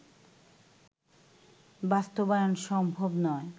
বাস্তবায়ন সম্ভব নয়